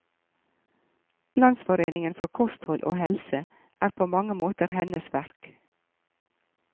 Landsforeningen for kosthold og helse er på mange måter hennes verk.